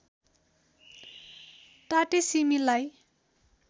टाटे सिमी लाई